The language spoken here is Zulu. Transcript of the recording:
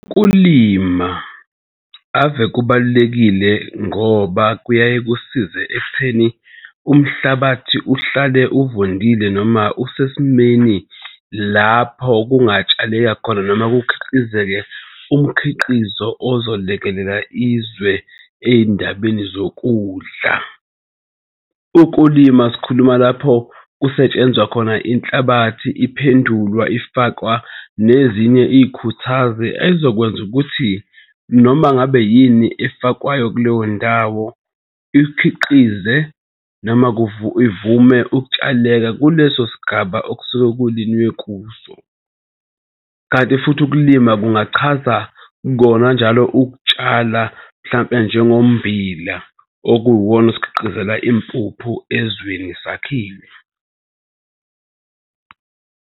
Ukulima ave kubalulekile ngoba kuyaye kusize ekutheni umhlabathi uhlale uvundile noma usesimeni lapho kungatshaleka khona noma kukhiqizeke umkhiqizo ozolekelela izwe ey'ndabeni zokudla. Ukulima sikhuluma lapho kusetshenzwa khona inhlabathi iphendulwa ifakwa nezinye ikhuthazi ezokwenza ukuthi noma ngabe yini efakwayo kuleyo ndawo ikhiqize noma ivume ukutshaleka kuleso sigaba okusuke kulinye kuso, kanti futhi ukulima kungachaza kona njalo ukutshala mhlampe njengommbila okuwuwona osikhiqizela impuphu ezweni sakhile.